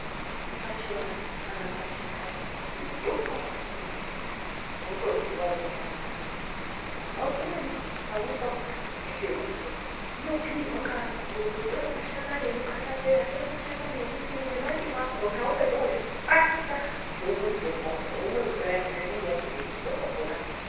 Pachivanhu kana kuti pachindau pane mitombo yakasiyana siyana inototsiwa ngevantu. Umweni pamweni pakona ukaite gotsorwa unobhuyirwa ngeanhu akuri kuti tore mashakani emukatapeya, tora mashakani emundimu nemandimu akona wapedza wozvikwatisa womwe mvura yakona inenge yabudemwo unotopona.